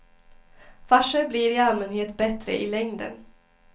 Farser blir i allmänhet bättre i längden.